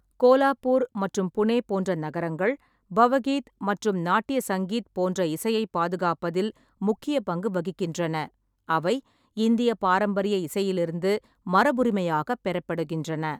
கோலாப்பூர் மற்றும் புனே போன்ற நகரங்கள் பவகீத் மற்றும் நாட்டிய சங்கீத் போன்ற இசையைப் பாதுகாப்பதில் முக்கிய பங்கு வகிக்கின்றன, அவை இந்திய பாரம்பரிய இசையிலிருந்து மரபுரிமையாகப் பெறப்படுகின்றன.